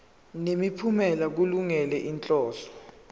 nemiphumela kulungele inhloso